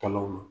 Kalo